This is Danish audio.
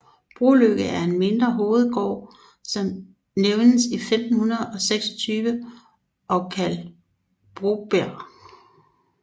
Broløkke er en mindre hovedgård som nævnes i 1526 og kaldt Brobjerg